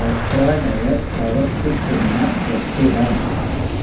കൊപ്ര ഡയര് പ്രവര്ത്തിക്കുന്ന കെട്ടിടം